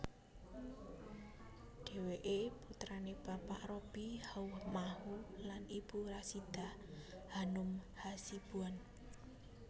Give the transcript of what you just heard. Dheweke putrane Bapak Robby Haumahu lan Ibu Rasidah Hanum Hasibuan